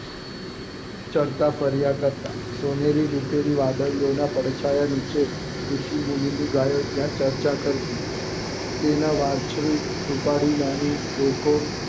ચરતા ફર્યા કરતા સોનેરી રૂપેરી વાદળી ઓ ના પડછયા નીચે ઋષિ મુની ની ગયો ત્યાં ચર્ચા કરતી તેના વાંસળી ઉપાડી નાની ડોકો